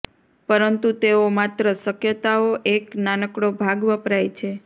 પરંતુ તેઓ માત્ર શક્યતાઓ એક નાનકડો ભાગ વપરાય છે